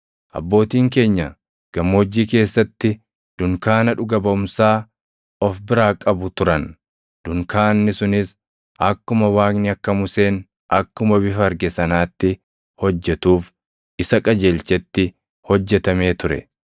“Abbootiin keenya gammoojjii keessatti dunkaana dhuga baʼumsaa of biraa qabu turan. Dunkaanni sunis akkuma Waaqni akka Museen akkuma bifa arge sanaatti hojjetuuf isa qajeelchetti hojjetamee ture.